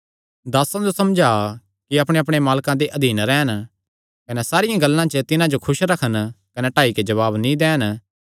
दासां जो समझा कि अपणेअपणे मालके दे अधीन रैह़न कने सारियां गल्लां च तिन्हां जो खुस रखन कने टाई नैं जवाब नीं दैन